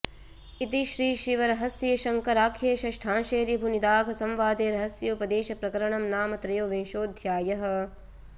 इति श्रीशिवरहस्ये शङ्कराख्ये षष्ठांशे ऋभुनिदाघसंवादे रहस्योपदेशप्रकरणं नाम त्रयोविंशोऽध्यायः